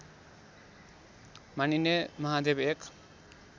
मानिने महादेव एक